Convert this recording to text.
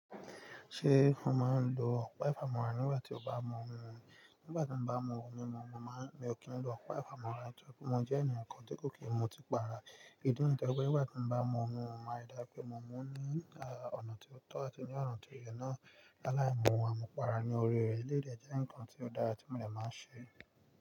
Ṣé o máa ń lo ọ̀pá ìfamọ́ra nígbà tí o bá mú ohun? Nígbà tí mo bá mú ohun mímu, mo máa ń, mi ò kí ń lo ọ̀pá ìfamọ́ra. Nítorí pé mo jẹ́ ènìyàn kan tí kò kí n mu ọtí para. Ìdí nìyìí tó jẹ́ pé nígbà tí mo bá mú ohun, mo maa ń rí dájú pé mo mú ní ọ̀nà tó tọ́ àti ní ọ̀nà tó yẹ náà. Láàìmú, àmúpara ní orí rẹ̀. Eléyìí dè jẹ́ ǹkan tí ó dára tí mo dẹ̀ máa ń ṣe.